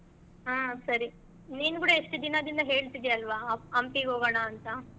ಹ್ಮ್ ಸರಿ ನೀನು ಕೂಡಾ ಎಷ್ಟ್ ದಿನದಿಂದ ಹೇಳ್ತಿದಿಯಾ ಅಲ್ವಾ ಹಂ~ ಹಂಪಿಗ್ ಹೋಗೋಣ ಅಂತಾ.